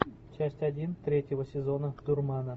часть один третьего сезона дурмана